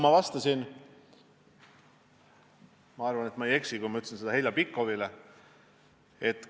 Ma ütlesin seda ka Heljo Pikhofile vastates.